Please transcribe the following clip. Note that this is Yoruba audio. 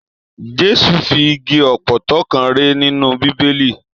Jésù fi igi ọpọtọ kàn rè nínú bíbélì.